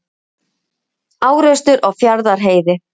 Árekstur á Fjarðarheiði